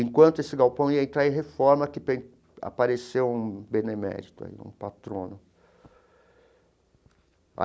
Enquanto esse galpão ia entrar em reforma, que apareceu um benemérito aí, um patrono.